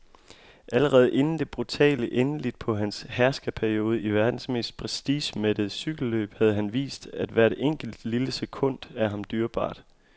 Allerede inden det brutale endeligt på hans herskerperiode i verdens mest prestigemættede cykelløb havde han vist, at hvert enkelt, lille sekund er ham dyrebart.